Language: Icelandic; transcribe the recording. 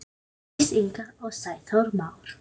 Jóndís Inga og Sæþór Már.